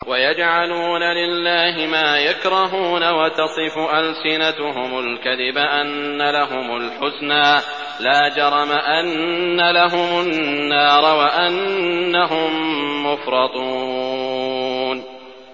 وَيَجْعَلُونَ لِلَّهِ مَا يَكْرَهُونَ وَتَصِفُ أَلْسِنَتُهُمُ الْكَذِبَ أَنَّ لَهُمُ الْحُسْنَىٰ ۖ لَا جَرَمَ أَنَّ لَهُمُ النَّارَ وَأَنَّهُم مُّفْرَطُونَ